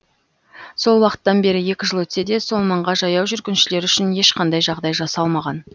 сол уақыттан бері екі жыл өтсе де сол маңға жаяу жүргіншілер үшін ешқандай жағдай жасалмаған